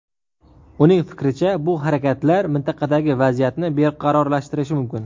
Uning fikricha, bu harakatlar mintaqadagi vaziyatni beqarorlashtirishi mumkin.